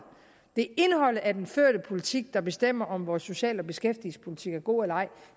af den førte politik der bestemmer om vores social og beskæftigelsespolitik er god eller ej